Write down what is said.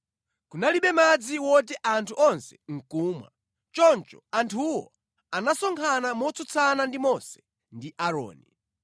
Kunalibe madzi woti anthu onse ndi kumwa, choncho anthuwo anasonkhana motsutsana ndi Mose ndi Aaroni.